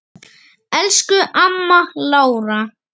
Elsku amma Lára.